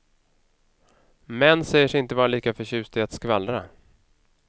Män säger sig inte vara lika förtjusta i att skvallra.